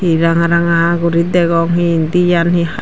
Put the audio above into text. hi ranga ranga guri degong hi indi yan hi